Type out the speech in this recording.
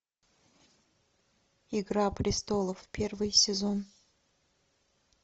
игра престолов первый сезон